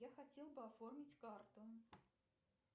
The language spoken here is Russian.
я хотел бы оформить карту